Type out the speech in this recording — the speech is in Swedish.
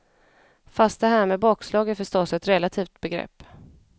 Fast det här med bakslag är förstås ett relativt begrepp.